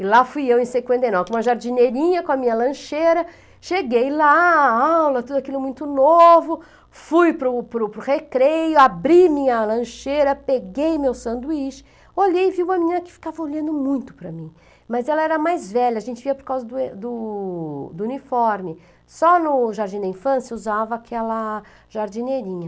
E lá fui eu em Secoendenó, com uma jardineirinha, com a minha lancheira, cheguei lá, aula, tudo aquilo muito novo, fui para o recreio, abri minha lancheira, peguei meu sanduíche, olhei e vi uma menina que ficava olhando muito para mim, mas ela era mais velha, a gente via por causa do, do uniforme, só no jardim da infância usava aquela jardineirinha.